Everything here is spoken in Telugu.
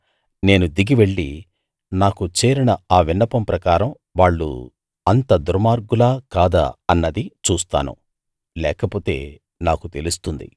నేను దిగి వెళ్ళి నాకు చేరిన ఆ విన్నపం ప్రకారం వాళ్ళు అంత దుర్మార్గులా కాదా అన్నది చూస్తాను లేకపోతే నాకు తెలుస్తుంది